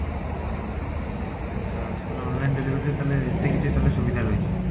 ଆଚ୍ଛା actually online delivery ରେ ତାହାଲେ ଏମତି କିଛି ସୁବିଧା ରହିଛି?